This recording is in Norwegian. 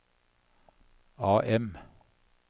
AM